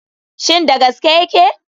Shin da gaske yake?